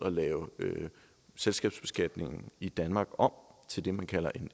at lave selskabsbeskatningen i danmark om til det man kalder